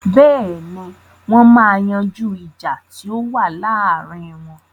Bẹ́ẹ̀ni, wọ́n ma yanjú ìjà tí ó wà láàrin wọn.